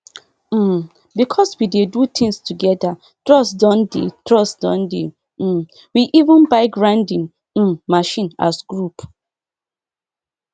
um because we dey do things together trust don dey trust don dey um we even buy grinding um machine as group